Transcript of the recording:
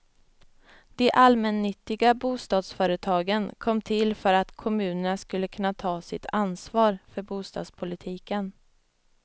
De allmännyttiga bostadsföretagen kom till för att kommunerna skulle kunna ta sitt ansvar för bostadspolitiken.